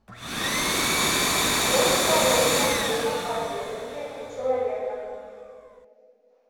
что расположено в левом подреберье у человека